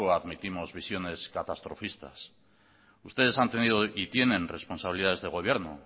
admitimos visiones catastrofistas ustedes han tenido y tienen responsabilidades de gobierno